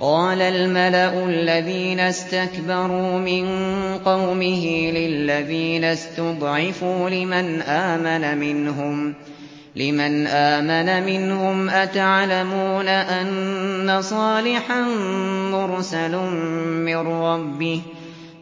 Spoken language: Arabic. قَالَ الْمَلَأُ الَّذِينَ اسْتَكْبَرُوا مِن قَوْمِهِ لِلَّذِينَ اسْتُضْعِفُوا لِمَنْ آمَنَ مِنْهُمْ أَتَعْلَمُونَ أَنَّ صَالِحًا مُّرْسَلٌ مِّن رَّبِّهِ ۚ